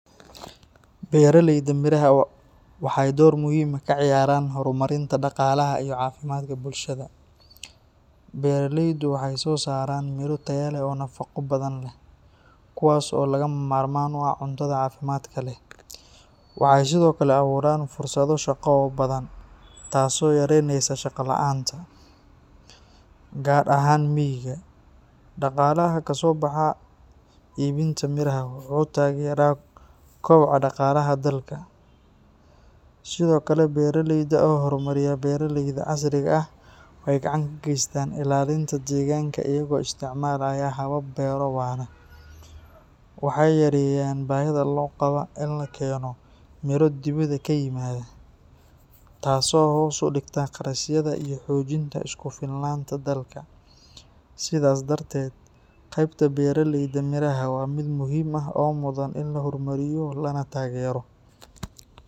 Beeralayda miraha waxay door muhiim ah ka ciyaaraan horumarinta dhaqaalaha iyo caafimaadka bulshada. Beeraleydu waxay soo saaraan miro tayo leh oo nafaqo badan leh, kuwaas oo lagama maarmaan u ah cuntada caafimaadka leh. Waxay sidoo kale abuuraan fursado shaqo oo badan, taasoo yareyneysa shaqo la'aanta, gaar ahaan miyiga. Dhaqaalaha ka soo baxa iibinta miraha wuxuu taageeraa koboca dhaqaalaha dalka. Sidoo kale, beeraleyda oo horumariya beeraleyda casriga ah waxay gacan ka geystaan ilaalinta deegaanka iyaga oo isticmaalaya habab beero-waara. Waxay yareeyaan baahida loo qabo in la keeno miro dibadda ka yimaada, taasoo hoos u dhigta qarashyada iyo xoojinta isku filnaanta dalka. Sidaas darteed, qaybta beeraleyda miraha waa mid muhiim ah oo mudan in la horumariyo lana taageero.